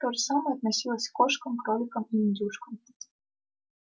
то же самое относилось к кошкам кроликам и индюшкам